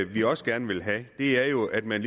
vi også gerne vil have er jo at man